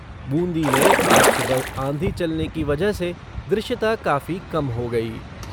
बूंदी में आज सुबह आंधी चलने की वजह से दृश्यता काफी कम हो गई।